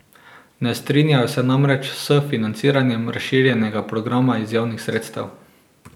Ne strinjajo se namreč s financiranjem razširjenega programa iz javnih sredstev.